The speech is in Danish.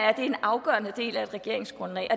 er en afgørende del af et regeringsgrundlag og